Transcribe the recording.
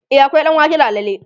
e akwai ɗanwake da alala